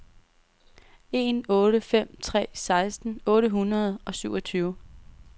en otte fem tre seksten otte hundrede og syvogtyve